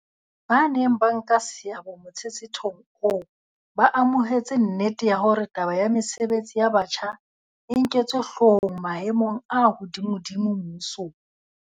Ba neng ba nka seabo motshetshethong oo ba amohetse nnete ya hore taba ya mesebetsi ya batjha e nketswe hloohong maemong a hodimodimo mmusong.